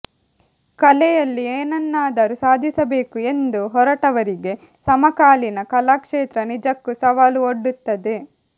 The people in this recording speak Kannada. ಕಲೆಯಲ್ಲಿ ಏನನ್ನಾದರೂ ಸಾಧಿಸಬೇಕು ಎಂದು ಹೊರಟವರಿಗೆ ಸಮಕಾಲೀನ ಕಲಾ ಕ್ಷೇತ್ರ ನಿಜಕ್ಕೂ ಸವಾಲು ಒಡ್ಡುತ್ತದೆ